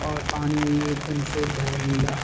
और पानी भी एक दम शुद्ध है नीला।